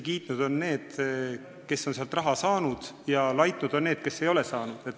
Kiitnud on kindlasti need, kes on sealt raha saanud, ja laitnud on need, kes ei ole saanud.